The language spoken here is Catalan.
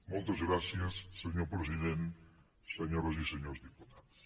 moltes gràcies senyor president senyores i senyors diputats